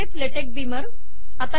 PDF ले टेक Beamer